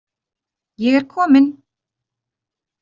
Ég er komin.